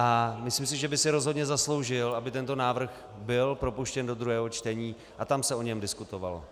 A myslím si, že by si rozhodně zasloužil, aby tento návrh byl propuštěn do druhého čtení a tam se o něm diskutovalo.